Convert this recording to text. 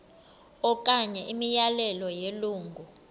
okanye imiyalelo yelungu